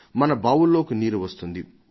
మన బావుల్లోకి నీరు చేరుతుంది